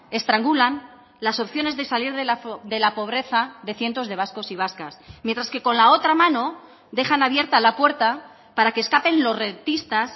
estrangulan las opciones de salir de la pobreza de cientos de vascos y vascas mientras que con la otra mano dejan abierta la puerta para que escapen los rentistas